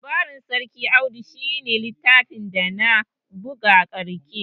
Labarin sarki Audu shi ne littafin dana buga ƙarshe